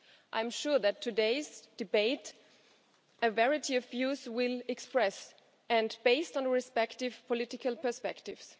I am sure that in today's debate a variety of views will be expressed, based on respective political perspectives.